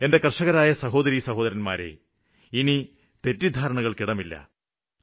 എന്റെ കര്ഷകരായ സഹോദരിസഹോദരന്മാരെ ഇനി തെറ്റിദ്ധാരണകള്ക്ക് ഇടമില്ല